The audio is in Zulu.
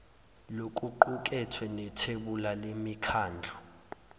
lokuqukethwe nethebula lemikhandlu